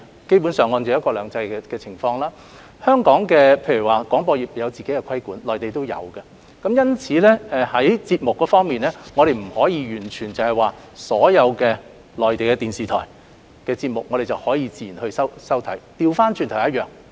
基本上在"一國兩制"下，香港的廣播業實施自己的規管，內地亦然，因此，在節目方面，我們未必能夠接收到所有內地電視台的節目，倒過來說亦一樣。